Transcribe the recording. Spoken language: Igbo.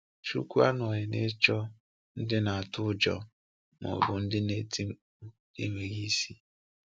Chúkwú anọghị n’ịchọ ndị na-atụ ụjọ ma ọ bụ ndị na-eti mkpu n’enweghị isi!